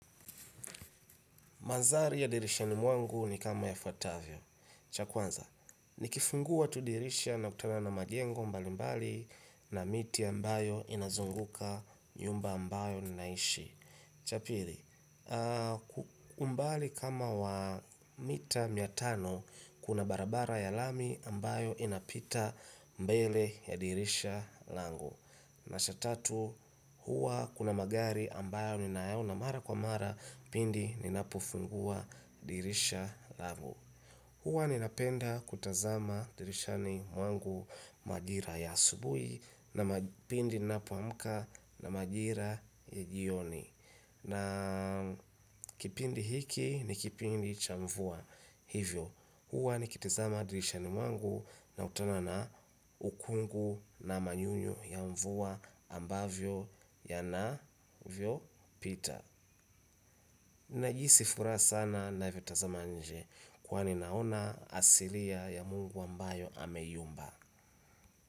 Mandhari ya dirishani mwangu ni kama yafuatavyo. Cha kwanza, nikifungua tu dirisha nakutana na majengo mbalimbali na miti ambayo inazunguka nyumba ambayo ninaishi. Cha pili, umbali wa kama mita mia tano kuna barabara ya lami ambayo inapita mbele ya dirisha langu. Na cha tatu, huwa kuna magari ambayo ninayaona mara kwa mara pindi ninapofungua dirisha langu. Huwa ninapenda kutazama dirishani mwangu majira ya asubuhi pindi ninapoamka na majira ya jioni. Na kipindi hiki ni kipindi cha mvua. Hivyo, huwa nikitazama dirishani mwangu nakutana ukungu na manyunyu ya mvua ambavyo yanavyopita. Najihisi furaja sana ninavyotazama nje kwani naona asilia ya Mungu ambayo ameiumba.